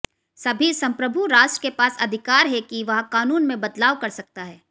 सभी संप्रभू राष्ट्र के पास अधिकार है कि वह कानून में बदलाव कर सकता है